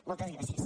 moltes gràcies